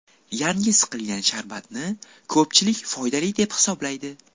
Yangi siqilgan sharbatni ko‘pchilik foydali deb hisoblaydi.